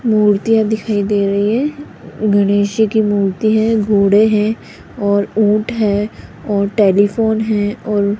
मूर्तियां दिखाई दे रही है गणेश जी की मूर्ति है घोड़े हैं और ऊंट है और टेलीफोन है और --